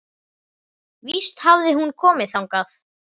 Víst hafði hún komið þangað.